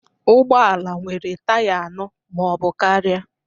Ụgbọ ala nwere taya anọ ma ọ bụ karịa